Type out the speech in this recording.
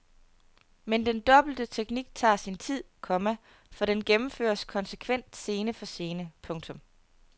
Men den dobbelte teknik tager sin tid, komma for den gennemføres konsekvent scene for scene. punktum